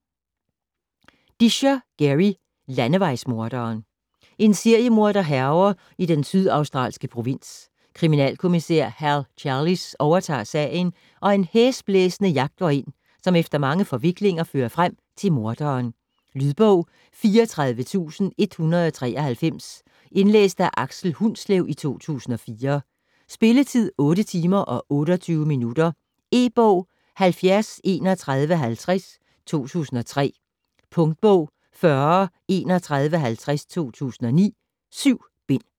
Disher, Garry: Landevejsmorderen En seriemorder hærger i den sydaustralske provins. Kriminalkommissær Hal Challis overtager sagen, og en hæsblæsende jagt går ind, som efter mange forviklinger fører frem til morderen. Lydbog 34193 Indlæst af Aksel Hundslev, 2004. Spilletid: 8 timer, 28 minutter. E-bog 703150 2003. Punktbog 403150 2009. 7 bind.